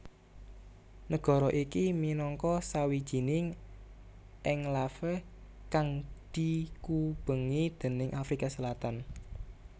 Nagara iki minangka sawijining enklave kang dikubengi déning Afrika Selatan